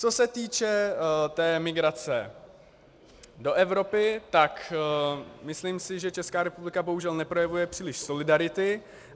Co se týče té migrace do Evropy, tak si myslím, že Česká republika bohužel neprojevuje příliš solidarity.